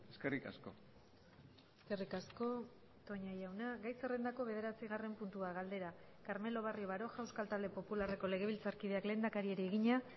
eskerrik asko eskerrik asko toña jauna gai zerrendako bederatzigarren puntua galdera carmelo barrio baroja euskal talde popularreko legebiltzarkideak lehendakariari egina